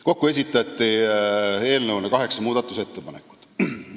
Kokku esitati eelnõu kohta kaheksa muudatusettepanekut.